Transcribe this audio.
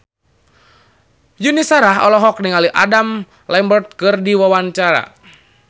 Yuni Shara olohok ningali Adam Lambert keur diwawancara